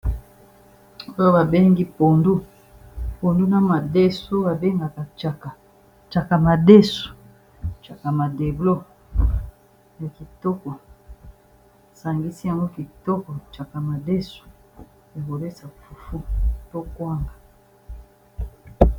oyo babengi pundu pundu na madesu babengaka caka madesu aaakitoko sangisi yango kitoko caka madesu ekolesa pufu tokwanga